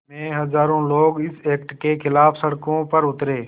में हज़ारों लोग इस एक्ट के ख़िलाफ़ सड़कों पर उतरे